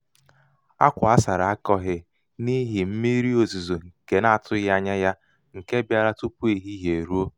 akwa asara akọghị n'ihi mmiri ozizo nke n'atụghị ányá ya nke bịara tupu ehihie eruo.